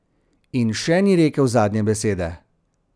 In še ni rekel zadnje besede.